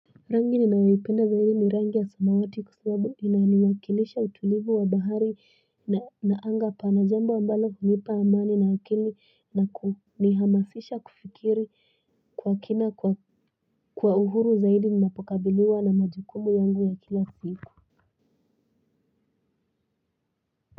Rangi ninayoipenda zaidi ni rangi ya samawati kwa sababu inawakilisha utulivu wa bahari na anga pana jambo ambalo hunipa amani na akili na kumihamasisha kufikiri kwa kina kwa uhuru zaidi ninapokabiliwa na majukumu yangu ya kila siku.